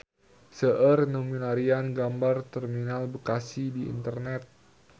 Seueur nu milarian gambar Terminal Bekasi di internet